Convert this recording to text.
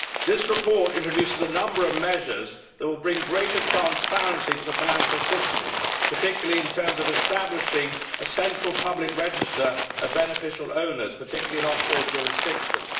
This report introduces a number of measures that will bring greater transparency to the financial system, particularly in terms of establishing a central public register of beneficial owners, particularly in offshore jurisdictions.